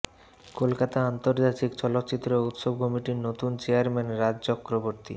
কলকাতা আন্তর্জাতিক চলচ্চিত্র উৎসব কমিটির নতুন চেয়ারম্যান রাজ চক্রবর্তী